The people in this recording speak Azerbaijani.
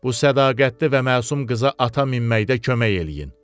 Bu sədaqətli və məsum qıza ata minməkdə kömək eləyin.